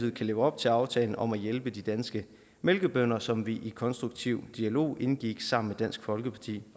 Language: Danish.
leve op til aftalen om at hjælpe de danske mælkebønder som vi i konstruktiv dialog indgik sammen med dansk folkeparti